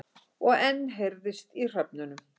Og enn heyrðist í hröfnunum.